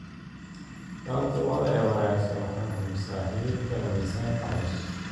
Taranta lo'da ee wanaagsan waxay hubisaa hilibka miisaanka culus.